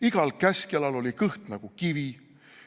Igal käskjalal oli kõht nagu kivi.